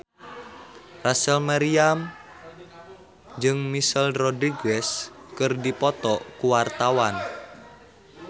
Rachel Maryam jeung Michelle Rodriguez keur dipoto ku wartawan